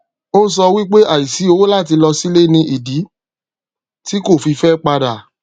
ó sọ wípé àìsí owó láti lọ sílé ni ìdí tí kò fi fẹ padà